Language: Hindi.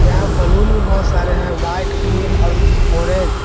बैलून में बहुत सारे हैं व्हाइट ग्रीन और ऑरेंज --